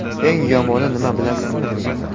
Eng yomoni nima, bilasizmi?